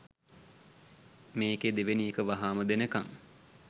මේකෙ දෙවනි එක වහාම දෙනකං